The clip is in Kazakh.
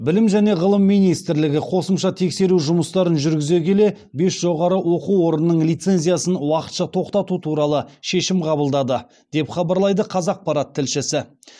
білім және ғылым министрлігі қосымша тексеру жұмыстарын жүргізе келе бес жоғары оқу орнының лицензиясын уақытша тоқтату туралы шешім қабылдады деп хабарлайды қазақпарат тілшісі